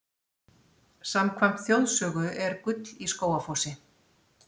Samkvæmt þjóðsögu er gull í Skógafossi.